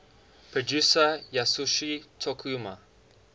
producer yasuyoshi tokuma